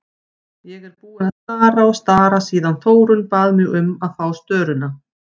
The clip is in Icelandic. Ég er búin að stara og stara síðan Þórunn bað mig um að fá störuna.